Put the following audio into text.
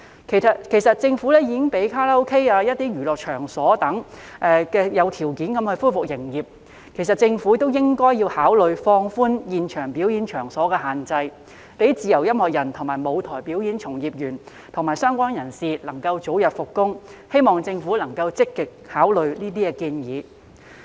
其實政府已經讓卡拉 OK、一些娛樂場所等有條件地恢復營業，政府亦應考慮放寬現場表演場所的限制，讓自由音樂人、舞台表演從業員及相關人士能夠早日復工，希望政府能夠積極考慮這些建議。